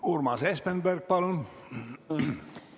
Urmas Espenberg, palun!